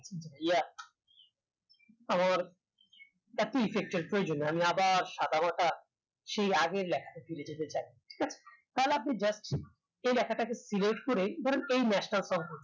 আমার আমি আবার শাখা বাধা সেই আগের তাহলে আপনি যাচ্ছেন এই লেখা তাকে select করেই ধরেন এই